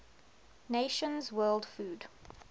nations world food